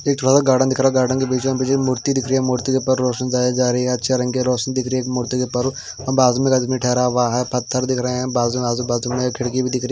एक छोटा सा गार्डन दिख रहा गार्डन दिख रहा है। गार्डन के बीचो बीच एक मूर्ति दिख रही है मूर्ति के पास रोशनी जाय जा रही है अच्छे रंग की रोशनी दिख रही है मूर्ति के पारो बाजू में एक आदमी ठहरा हुआ है पत्थर दिख रहे हैं। बाजू में आजू बाजू में खिड़की भी दिख रही --